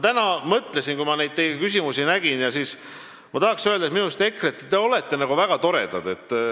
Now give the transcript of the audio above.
Täna, kui ma neid teie küsimusi nägin, ma mõtlesin, et tahaks öelda: EKRE, te olete väga toredad.